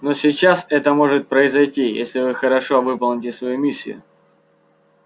но сейчас это может произойти если вы хорошо выполните свою миссию